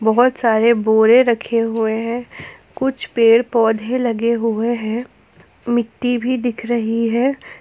बहुत सारे बोरे रखे हुए हैं कुछ पेड़ पौधे लगे हुए है मिट्टी भी दिख रही हैं।